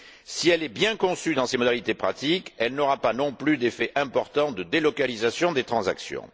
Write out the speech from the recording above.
Si elle est bien conçue dans ses modalités pratiques, elle n'aura pas non plus d'effets importants de délocalisation des transactions.